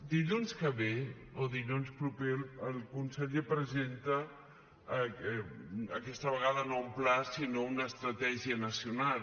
dilluns que ve o dilluns proper el conseller presenta aquesta vegada no un pla sinó una estratègia nacional